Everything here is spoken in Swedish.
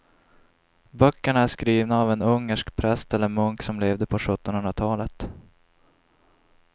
Böckerna är skrivna av en ungersk präst eller munk som levde på sjuttonhundratalet.